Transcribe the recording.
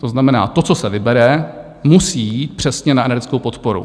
To znamená, to, co se vybere, musí jít přesně na energetickou podporu.